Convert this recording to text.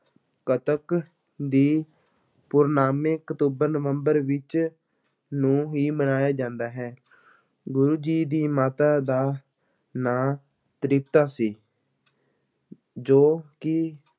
ਕੱਤਕ ਦੀ ਪੂਰਨਾਮੀ ਅਕਤੂਬਰ-ਨਵੰਬਰ ਵਿੱਚ ਨੂੰ ਹੀ ਮਨਾਇਆ ਜਾਂਦਾ ਹੈ, ਗੁਰੂ ਜੀ ਦੀ ਮਾਤਾ ਦਾ ਨਾਂ ਤ੍ਰਿਪਤਾ ਸੀ ਜੋ ਕਿ